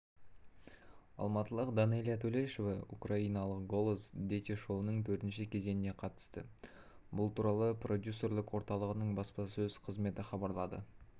алматылықданэлия төлешова украиналық голос діти шоуының төртінші кезеңіне қатысты бұл туралы продюсерлік орталығының баспасөз қызметі хабарлады